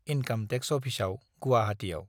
Income tax अफिसाव गुवाहाटियाव।